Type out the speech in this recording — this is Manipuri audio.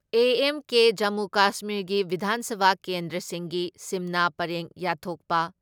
ꯑꯦ.ꯑꯦꯟ.ꯀꯦ ꯖꯃꯨ ꯀꯁꯃꯤꯔꯒꯤ ꯕꯤꯙꯥꯟ ꯁꯚꯥ ꯀꯦꯟꯗ꯭ꯔꯁꯤꯡꯒꯤ ꯁꯤꯝꯅꯥ ꯄꯔꯦꯡ ꯌꯥꯠꯊꯣꯛꯄ